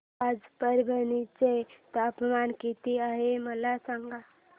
आज परभणी चे तापमान किती आहे मला सांगा